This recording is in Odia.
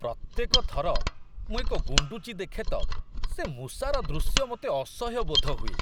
ପ୍ରତ୍ୟେକ ଥର ମୁଁ ଏକ ଗୁଣ୍ଡୁଚି ଦେଖେ ତ ସେ ମୂଷାର ଦୃଶ୍ୟ ମୋତେ ଅସହ୍ୟ ବୋଧ ହୁଏ।